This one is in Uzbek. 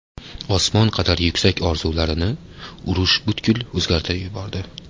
Osmon qadar yuksak orzularini urush butkul o‘zgartirib yubordi.